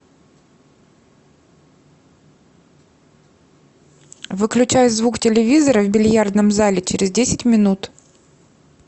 выключай звук телевизора в бильярдном зале через десять минут